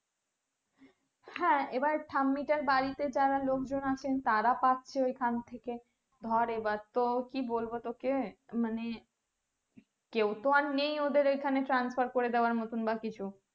হ্যাঁ এবার ঠাম্মিটার বাড়িতে যারা লোকজন আছেন তারা পাচ্ছে ওখান থেকে ধরে এবার তো কি বলবো তোকে মানে কেউ তো আর নেই ওদের ওখানে transfer করে দেয়ার মতো বা কিছু